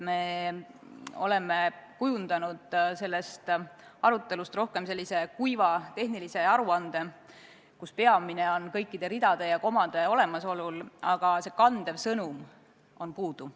Me oleme kujundanud sellest arutelust rohkem kuiva tehnilise aruande, kus peamine on kõikide ridade ja komade olemasolu, aga kandev sõnum on puudu.